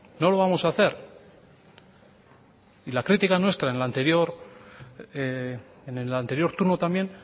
no lo vamos hacer y la crítica nuestra en el anterior turno también